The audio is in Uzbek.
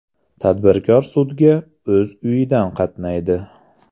Tadbirkor sudga o‘z uyidan qatnaydi.